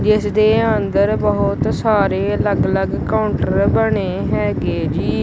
ਜਿਸਦੇ ਅੰਦਰ ਬਹੁਤ ਸਾਰੇ ਅਲੱਗ ਅਲੱਗ ਕਾਉਂਟਰ ਬਣੇ ਹੈਗੇ ਜੀ।